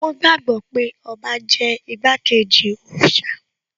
Wón gbàgbọ́ pé ọba jẹ́ igbákejì òòṣà